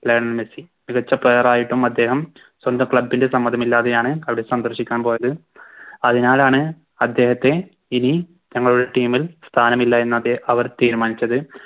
Lionel Messi മികച്ച Player ആയിട്ടും അദ്ദേഹം സ്വന്തം Club ൻറെ സമ്മതമില്ലാതെയാണ് അവിടെ സന്ദർശിക്കാൻ പോയത് അതിനാലാണ് അദ്ദേഹത്തെ ഇനി ഞങ്ങളുടെ Team ൽ സ്ഥാനമില്ല എന്നവർ തീരുമാനിച്ചത്